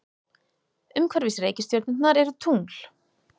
Umhverfis reikistjörnurnar eru tungl.